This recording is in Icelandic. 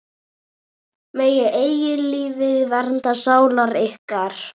Megi eilífð vernda sálir ykkar.